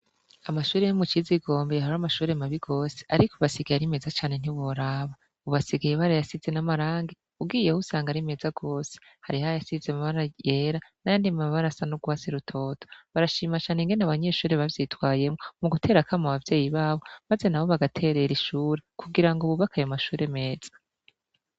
Amashuri yo mu ciza igombe yahara amashure mabi gose, ariko basigaye ari meza cane ntiboraba ubasigaye ibara yasize n'amarange ugiyeho usanga ari meza rwose hari ha yasize mabara yera n'ayo ndim abarasa n'urwasi rutoto barashimacane ingene abanyeshuri bavyitwayemwo mu guterakama abavyeyi babo, maze na bo bagaterera ishure kugira ngo bubakayemwa shure meza.